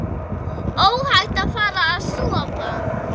Óhætt að fara að sofa.